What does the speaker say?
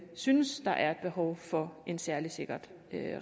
synes at der er et behov for en særligt sikret